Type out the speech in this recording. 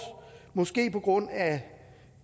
måske på grund af